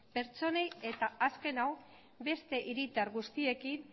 pertsonei eta azken hau beste hiritar guztiekin